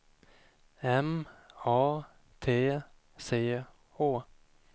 M A T C H